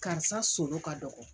Karisa solo ka dɔgɔ